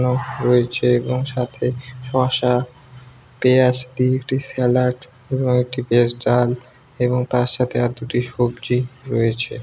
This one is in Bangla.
এবং রয়েছে এবং সাথে শসা পেঁয়াজ দিয়ে একটি স্যালাড এবং একটি ভেজ ডাল এবং তার সাথে আর দুটি সবজি রয়েছে।